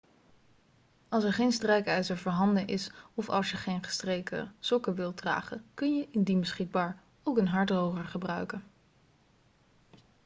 als er geen strijkijzer voorhanden is of als je geen gestreken sokken wilt dragen kun je indien beschikbaar ook een haardroger gebruiken